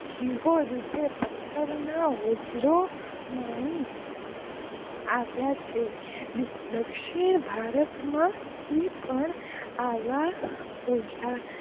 જિહોં રૂપે પત્થર ના હોજરો માણી આવ્યા છે દખ્સીન ભારત માં થી પણ આવા